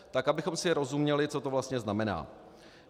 Tak abychom si rozuměli, co to vlastně znamená.